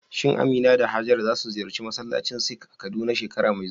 Shin Amina da Hajara za su ziyarci masallacin Sikh a Kaduna shekara mai zuwa?